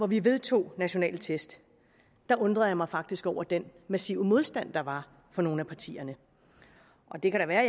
vi vedtog nationale test undrede jeg mig faktisk over den massive modstand der var fra nogle af partierne og det kan da være